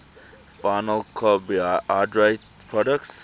final carbohydrate products